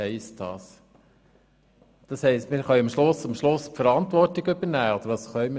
Bedeutet es, dass wir am Schluss die Verantwortung übernehmen können?